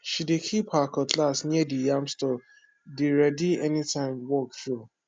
she dey keep her cutlass near the yam storee dey ready anytime work show